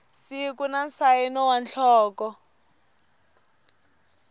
siku na nsayino wa nhloko